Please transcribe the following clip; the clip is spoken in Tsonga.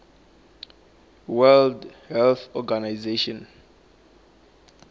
world health organization